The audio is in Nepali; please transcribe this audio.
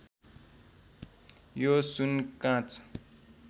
यो सुन काँच